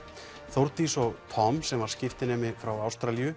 Þórdís og Tom sem var skiptinemi frá Ástralíu